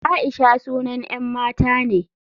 Aisha sunan 'yan mata ne.